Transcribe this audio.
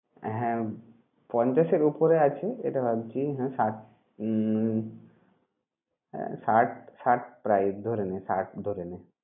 হ্যাঁ পঞ্চাশের ওপরে আছে সেটা ভাবছি কিন্তু ষাট উম ষাট ষাট প্রায় ধরে নে ষাট ধরে নে।